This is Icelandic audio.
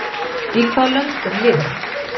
Í hvaða löndum lifir hann?